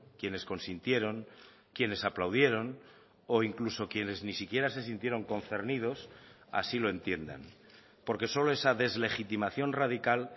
quienes consintieron quienes aplaudieron o incluso quienes ni siquiera se sintieron concernidos así lo entiendan porque solo esa deslegitimación radical